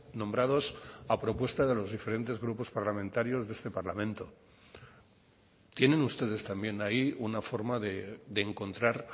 nombrados a propuesta de los diferentes grupos parlamentarios de este parlamento tienen ustedes también ahí una forma de encontrar